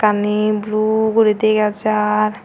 eyan he blue guri degajar.